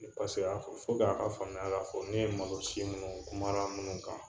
Paseke a ka faamuya k'a fɔ ne ye malosi minnu kumara minnu kan.